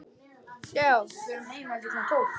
Sindri: Tekur þú strætó í vinnuna?